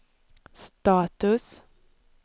status